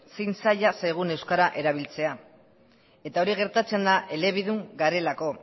zein zaila zaigun euskara erabiltzea eta hori gertatzen da elebidun garelako